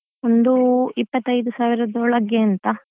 ಒಂದು ಇಪ್ಪತ್ತೈದು ಸಾವಿರದ ಒಳಗೆ ಅಂತ.